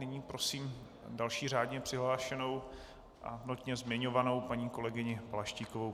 Nyní prosím další řádně přihlášenou a notně zmiňovanou paní kolegyni Balaštíkovou.